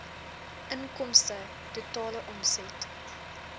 inkomste totale omset